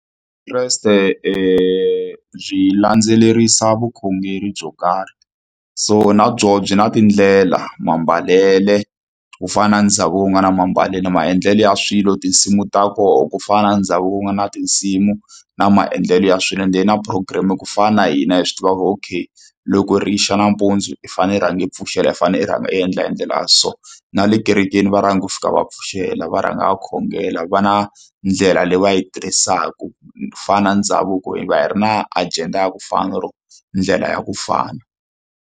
Vukreste byi landzelerisa vukhongeri byo karhi so na byona byi na tindlela, mambalele ku fana na ndhavuko wu nga na mambalelo maendlelo ya swilo tinsimu ta kona ku fana na ndhavuko ku nga na tinsimu na maendlelo ya swilo ende na program ku fana na hina hi swi tiva ku okay loko ri yi xa nampundzu i fanele rhanga i pfuxela i fanele u rhanga u endla hi ndlela ya so na le kerekeni va rhanga hi ku fika va pfuxela va rhanga va khongela va na ndlela leyi va yi tirhisaka ku fana na ndhavuko hi va hi ri na agenda ya ku fana or ndlela ya ku fana.